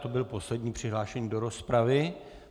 To byl poslední přihlášený do rozpravy.